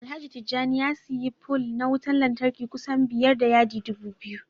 Alhaji Tijjani ya siyi pole na wutan lantarki kusan biyar da yadi dubu biyu